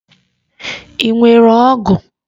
Ị nwere ọgụ?